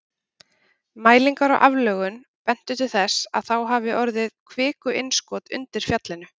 Mælingar á aflögun bentu til þess að þá hafi orðið kvikuinnskot undir fjallinu.